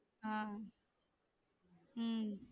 ஆஹ் உம்